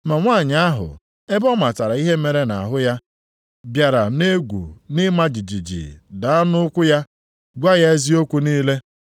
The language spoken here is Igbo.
Ma nwanyị ahụ, ebe ọ matara ihe mere nʼahụ ya, bịara nʼegwu nʼịma jijiji daa nʼụkwụ ya, gwa ya eziokwu niile.